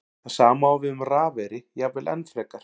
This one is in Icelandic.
Það sama á við um rafeyri, jafnvel enn frekar.